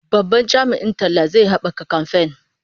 Babban jami'in talla zai haɓaka kamfen.